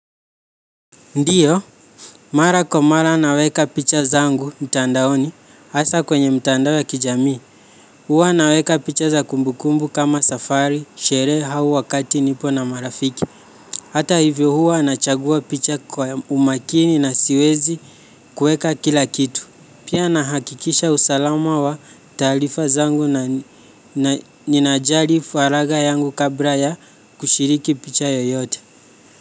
Ndiyo, mara kwa mara naweka picha zangu mtandaoni, hasa kwenye mtandao ya kijamii. Huwa naweka picha za kumbukumbu kama safari, sherehe au wakati nipo na marafiki. Hata hivyo, huwa nachagua picha kwa umakini na siwezi kuweka kila kitu. Pia, nahakikisha usalama wa taarifa zangu na ninajali falagha yangu kabla ya kushiriki picha yeyote.